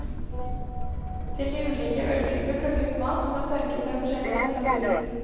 Til de ulike øltyper brukes malt som er tørket ved forskjellig temperatur.